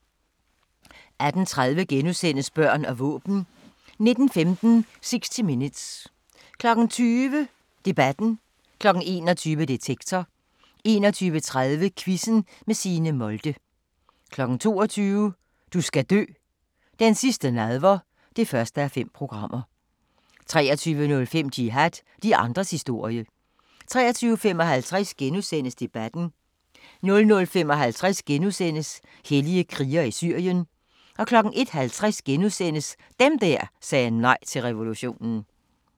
18:30: Børn og våben * 19:15: 60 Minutes 20:00: Debatten 21:00: Detektor 21:30: Quizzen med Signe Molde 22:00: Du skal dø: Den sidste Nadver (1:5) 23:05: Jihad – de andres historie 23:55: Debatten * 00:55: Hellige krigere i Syrien * 01:50: Dem der sagde nej til revolutionen *